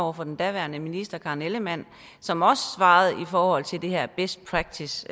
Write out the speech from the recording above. over for den daværende minister karen ellemann som også svarede i forhold til det her best practice